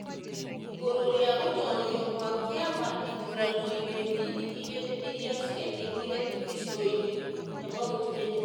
igũrũ rĩa gũtoorio gwa kĩama ithuranoinĩ nini igĩrĩ iria ciekekire gĩcigoinĩ kĩa Mt Kenya.